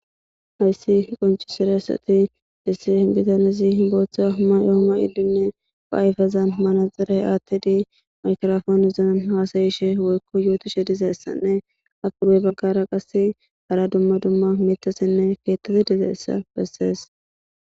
Hayssi qonccisizaysi issi bitanezi booththa mayo mayidi ayfezan manaxire aaththidi,migiraponera haasayishe woyko yootishe dizaysane ha pude baggara qasse hara dumma dumma miththatinne keeththati dizaysa bessees.